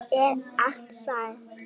Þetta er allt rangt.